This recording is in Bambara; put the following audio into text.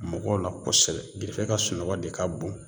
Mɔgɔw la kosɛbɛ ka sunɔgɔ de ka bon